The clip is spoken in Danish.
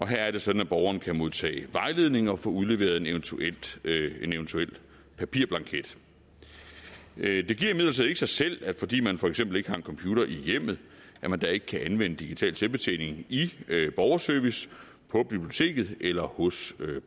her er det sådan at borgeren kan modtage vejledning og få udleveret en eventuel en eventuel papirblanket det giver imidlertid ikke sig selv at man fordi man for eksempel ikke har en computer i hjemmet ikke kan anvende digital selvbetjening i borgerservice på biblioteket eller hos